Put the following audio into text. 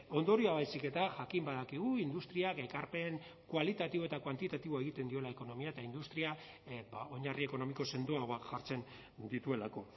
ondorioa baizik eta jakin badakigu industriak ekarpen kualitatibo eta kuantitatiboa egiten diola ekonomia eta industria oinarri ekonomiko sendoagoak jartzen dituelako